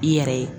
I yɛrɛ ye